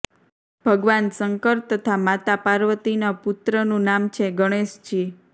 ભગવાન શંકર તથા માતા પાર્વતીના પુત્રનું નામ છે ગણેશજી